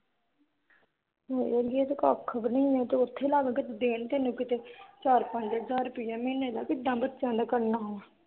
ਹਾਏ ਅੜੀਏ ਇਹ ਤਾਂ ਕੱਖ ਵੀ ਨੀ ਉਥੇ ਲੱਗ ਕਿਥੇ ਦੇਣ ਤੈਨੂੰ ਕੀਤੇ ਚਾਰ-ਪੰਜ ਹਜ਼ਾਰ ਮਹੀਨੇ ਦਾ ਕਿਦਾ ਬੱਚਿਆਂ ਦਾ ਕਰਨਾ